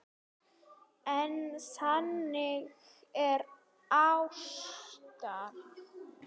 En þannig var Ása.